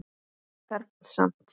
Fermt samt.